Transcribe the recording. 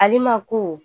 Ale ma ko